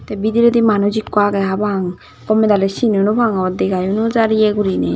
te bidirey di manuj ekku age hapang gomedale cinow nw pangor dega ow no jar iye gorinay.